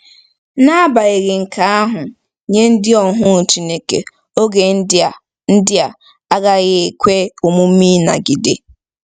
N'agbanyeghị nke ahụ, nye ndị ohu Chineke, oge ndị a ndị a agaghị ekwe omume ịnagide.